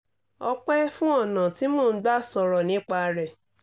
ọ̀pẹ́ fún ọ̀nà tí mo gbà ń sọ̀rọ̀ nípa rẹ̀